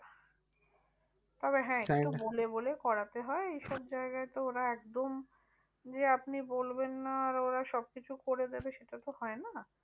তবে হ্যাঁ একটু বলে বলে করাতে হয় এই সব জায়গায় তো ওরা একদম যে আপনি বলবেন না আর ওরা সব কিছু করে দেবে সেটা তো হয় না।